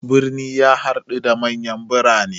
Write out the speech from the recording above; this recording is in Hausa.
Birni ya haɗa da manyan birane.